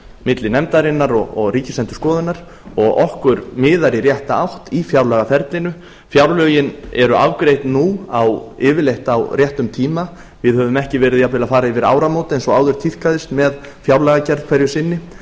milli nefndarinnar og ríksiendurskoðunar og okkur miðar í rétta átt í fjárlagaferlinu fjárlögin eru afgreidd nú yfirleitt á réttum tíma við höfum ekki verið jafnvel að fara yfir áramót eins og áður tíðkaðist með fjárlagagerð hverju sinni